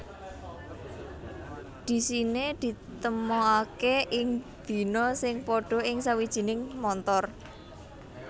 Dhisiné ditemokaké ing dina sing padha ing sawijining montor